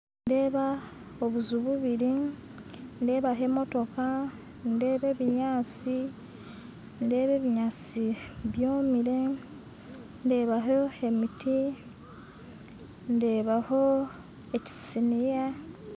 Nindeeba obuju bubiri nindeebaho emotooka , nindeebaho ebinyansi ndebaho ebinyansi byomire ndebaho emiti ndebaaho ekisiniya